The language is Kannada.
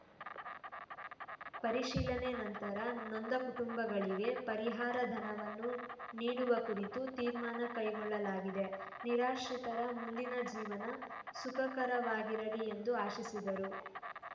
ಪರಿಶೀಲನೆ ನಂತರ ನೊಂದ ಕುಟುಂಬಗಳಿಗೆ ಪರಿಹಾರ ಧನವನ್ನು ನೀಡುವ ಕುರಿತು ತೀರ್ಮಾನ ಕೈಗೊಳ್ಳಲಾಗಿದೆ ನಿರಾಶ್ರಿತರ ಮುಂದಿನ ಜೀವನ ಸುಖಕರವಾಗಿರಲಿ ಎಂದು ಆಶಿಸಿದರು